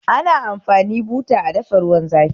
Ana amfani buta a dafa ruwan zafi